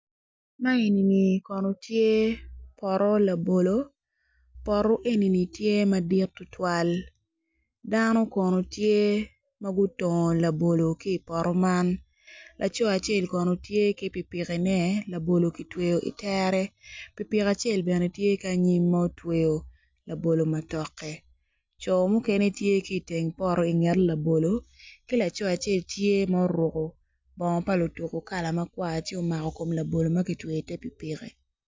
Ma enini kono tye poto labolo poto enini tye madit tutwal dano kono tye ma gutongo labolo ki i poto man laco acel kono tye ki pikipkine labolo ki tweyo itere pikipikin acel bene tye ki anyim ma otweyo labolo matoke co mukene tye ki iteng poto inget labolo ki laco acel tye ma ouruku bongo pa lutuku kala makwar ci omako kom labolo ma kitweyo ite pikipiki